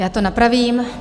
Já to napravím.